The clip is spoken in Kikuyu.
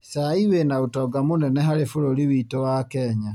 Cai wĩna ũtonga mũnene harĩ bũrũri witũ wa Kenya.